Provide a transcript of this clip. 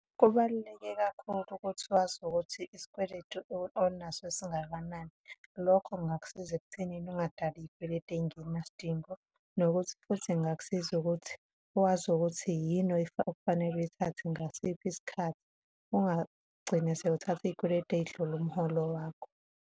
Kubaluleke kakhulu ukuthi wazi ukuthi isikweletu onaso esingakanani, lokho kungakusiza ekuthenini ungadali iy'kweletu ey'ngenasidingo, nokuthi futhi kungakusiza ukuthi wazi ukuthi yini okufanele uyithathe ngasiphi isikhathi, ungagcini siwuthatha iy'kweletu ey'dlula umholo wakho.